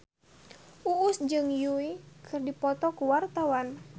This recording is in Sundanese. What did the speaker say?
Uus jeung Yui keur dipoto ku wartawan